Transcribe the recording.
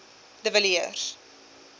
de villiers